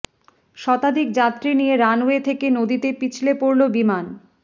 শতাধিক যাত্রী নিয়ে রানওয়ে থেকে নদীতে পিছলে পড়ল বিমান